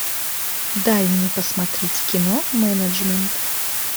дай мне посмотреть кино менеджмент